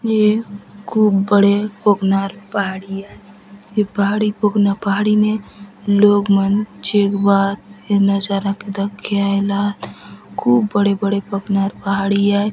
ये खूब बड़े पोखनार पहाड़ी आय ये पहाड़ी पखनार पहाड़ी ने लोग मन चेंगबा आत ये नज़ारा के दखके आयला आत खूब बड़े बड़े पखनार पहाड़ी आय।